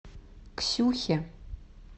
ксюхе